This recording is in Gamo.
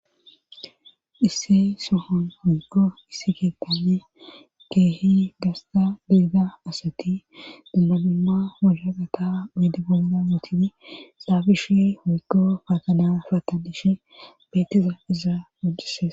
isse sohon huykko issi geetane keehi gasta deega asati dambanumma wohaqata oyde boyna wootini saabishi hiikko faakana fata dishe beeteza izaa gujises